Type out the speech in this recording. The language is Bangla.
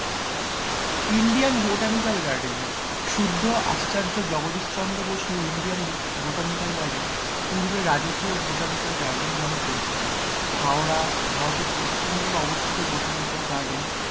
ইন্ডিয়ান বোটানিক্যাল গার্ডেন শুদ্ধ আশ্চর্য জগদীশ চন্দ্র বসু বোটানিক্যাল গার্ডেন পূর্বে রাজকীয় বোটানিক্যাল গার্ডেন নামে পরিচিত হাওড়া ভারতের পশ্চিমবঙ্গে অবস্থিত বোটানিক্যাল গার্ডেন.